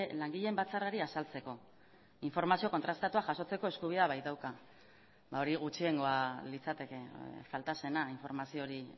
langileen batzarrari azaltzeko informazio kontrastatua jasotzeko eskubidea baitauka ba hori gutxiengoa litzateke falta zena informazio hori